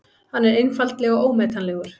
Hann er einfaldlega ómetanlegur.